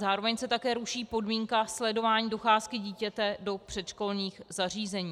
Zároveň se také ruší podmínka sledování docházky dítěte do předškolních zařízení.